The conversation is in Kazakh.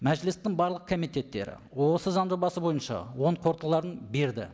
мәжілістің барлық комитеттері осы заң жобасы бойынша оң қорытындыларын берді